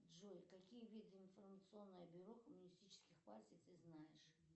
джой какие виды информационных бюро коммунистических партий ты знаешь